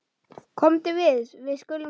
Komdu, við skulum fara.